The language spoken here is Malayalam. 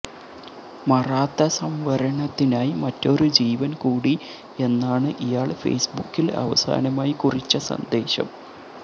മറാത്ത സംവരണത്തിനായി മറ്റൊരു ജീവന് കൂടി എന്നാണ് ഇയാള് ഫേസ്ബുക്കില് അവസാനമായി കുറിച്ച സന്ദേശം